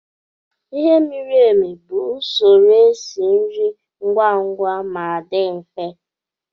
Ighe miri emi bụ usoro esi nri ngwa ngwa ma dị mfe